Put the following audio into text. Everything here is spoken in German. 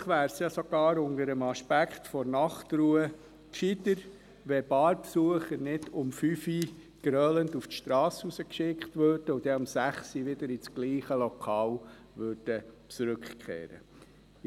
Wahrscheinlich wäre es ja sogar unter dem Aspekt der Nachtruhe gescheiter, wenn Barbesucher nicht um 5 Uhr grölend auf die Strasse hinausgeschickt und sie dann um 6 Uhr wieder in dasselbe Lokal zurückkehren würden.